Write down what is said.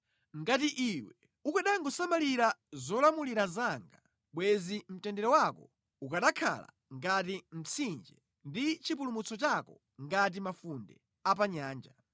Ngati iwe ukanangosamalira zolamulira zanga, bwenzi mtendere wako ukanakhala ngati mtsinje, ndi chipulumutso chako ngati mafunde a pa nyanja.